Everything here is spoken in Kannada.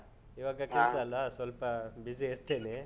ಈವಾಗ ಕೆಲ್ಸ ಅಲಾ. ಸ್ವಲ್ಪ busy ಇರ್ತೇವೆ.